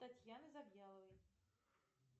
татьяны завьяловой